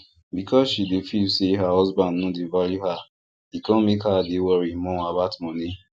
because she dey feel say her husband no dey value her e come make her dey worry more about moni